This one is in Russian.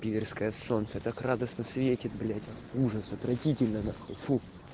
пидарское солнце так радостно светит блять ужас отвратительно фу